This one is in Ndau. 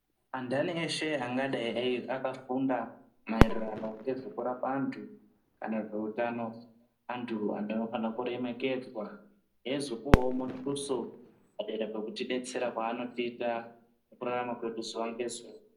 Andani veshe vangadai vakafunda maererano ngezvekurapa andu kana zveutano andu anofanira kuremekedzwa ezopuwawo mutuso padera pekubetsera kwavanoita mkutarama kwedu zuva nezuva.